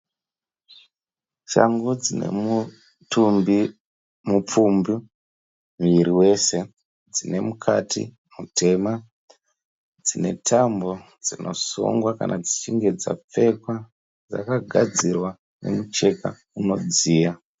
Shangu dzine mutumbi mupfumbi muviri wese. Dzine mukati mutema. Dzine tambo dzinosungwa kana dzichinge dzapfekwa. Dzakagadzirwa nemucheka unodziya.